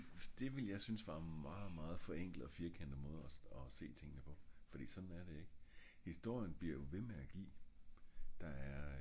det ville jeg synes var en meget meget forenklet og firkantet måde og og se tingene på fordi såen er det ik historien bliver jo ved med at gi